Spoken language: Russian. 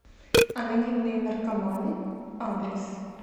анонимные наркоманы адрес